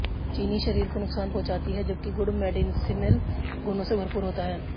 चीनी शरीर को नुकसान पहुंचाती है जबकि गुड़ मेंडिसिनल गुणों से भरपूर होता है